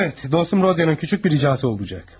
Əvət, dostum Rodionun kiçik bir ricasi olacaq.